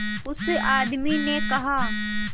उस आदमी ने कहा